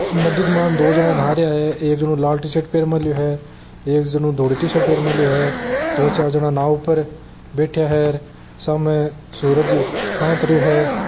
ई नदी के मायने दो जना नहा रहिया है एक जनो लाल टीशर्ट पहर मेल्यो है एक जनो धोली टीशर्ट पहर मेल्यो है दो चार जना नाव ऊपर बैठ्या है र सामे सूरज आंत रहियो है।